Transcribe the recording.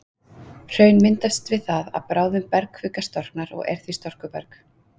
hraun myndast við það að bráðin bergkvika storknar og er því storkuberg